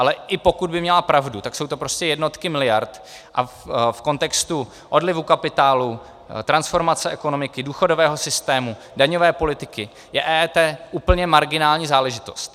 Ale i pokud by měla pravdu, tak jsou to prostě jednotky miliard a v kontextu odlivu kapitálu, transformace ekonomiky, důchodového systému, daňové politiky je EET úplně marginální záležitost.